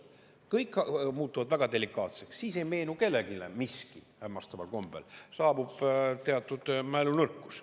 Kõik muutuvad väga delikaatseks, siis ei meenu kellelegi miski hämmastaval kombel, saabub teatud mälunõrkus.